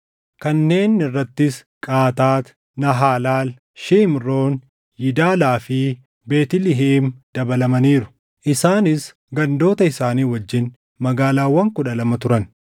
Kanneen irrattis Qaataat, Naahaalal, Shimroon, Yidalaa fi Beetlihem dabalamaniiru. Isaaniis gandoota isaanii wajjin magaalaawwan kudha lama turan.